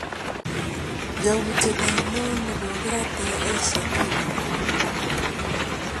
Yautiet ainon nekokiraten Asia Bibi